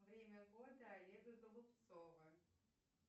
время года олега голубцова